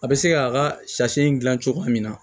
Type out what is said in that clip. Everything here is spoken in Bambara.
A bɛ se k'a ka sasi in gilan cogoya min na